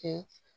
Kɛ